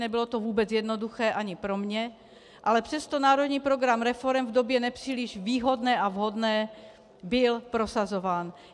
Nebylo to vůbec jednoduché ani pro mě, ale přesto národní program reforem v době nepříliš výhodné a vhodné byl prosazován.